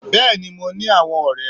Béèni mo ní àwon ọ̀rẹ́